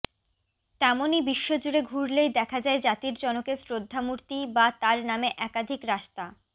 তেমনই বিশ্ব জুড়ে ঘুরলেই দেখা যায় জাতির জনকের শ্রদ্ধা মূর্তি বা তাঁর নামে একাধিক রাস্তা